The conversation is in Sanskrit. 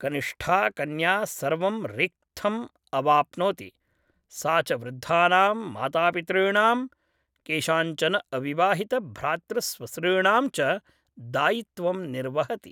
कनिष्ठा कन्या सर्वं रिक्थमवाप्नोति, सा च वृद्धानां मातापितॄणां, केषाञ्चन अविवाहितभ्रातृस्वसॄणां च दायित्वं निर्वहति।